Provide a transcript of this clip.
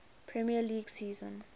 premier league season